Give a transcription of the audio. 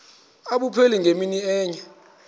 abupheli ngemini enye